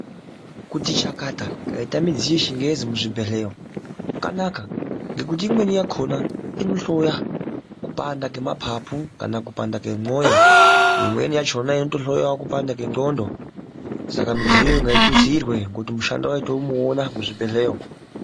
Kuti chakata kwaite midziyo yechingezi muzvibhehlera kwakanaka ngekuti imweni yakhona inohloya kupanda kwemapapu kana kupanda kwemoyo imweniyachona inotohloyawo kupanda kwenxlhondo saka midziyoyo ngaitutsirwe kuti mushando wacho tomuona muzvibhehlera umu.